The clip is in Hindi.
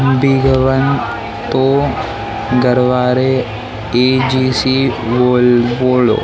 बिग वन तो गरवारे ई_जी_सी बोल बोलो।